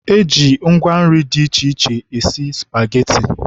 E ji ngwa nri dị iche iche esi spageti.